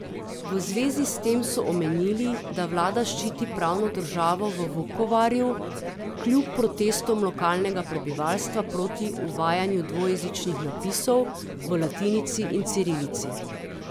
V zvezi s tem so omenili, da vlada ščiti pravno državo v Vukovarju, kljub protestom lokalnega prebivalstva proti uvajanju dvojezičnih napisov v latinici in cirilici.